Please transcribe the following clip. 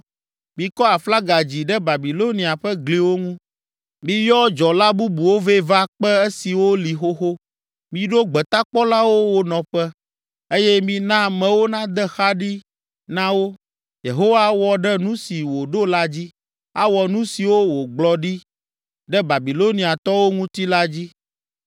Mikɔ aflaga dzi ɖe Babilonia ƒe gliwo ŋu! Miyɔ dzɔla bubuwo vɛ va kpe esiwo li xoxo, miɖo gbetakpɔlawo wo nɔƒe, eye mina amewo nade xa ɖi na wo. Yehowa awɔ ɖe nu si wòɖo la dzi, awɔ nu siwo wògblɔ ɖi ɖe Babiloniatɔwo ŋuti la dzi.